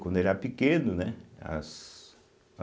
Quando era pequeno, né? as as